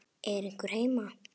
Er einhver heima?